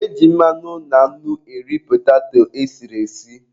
E ji mmanụ na nnu eri petato e siri esi.